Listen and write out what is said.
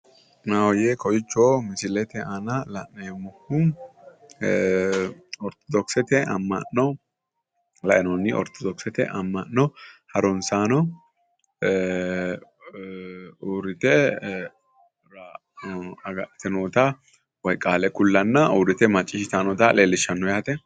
Maahoye kowicho misilete aana la'neemmohu orthodokisete ama'nanno qaale ku'lanna uurrite macciishshittanni nootta leelishano yaate